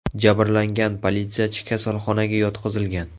Jabrlangan politsiyachi kasalxonaga yotqizilgan.